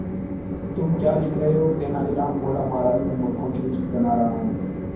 तुम क्या लिख रहे हो तेनालीराम बोला महाराज में मूर्खों की लिस्ट बना रहा हूं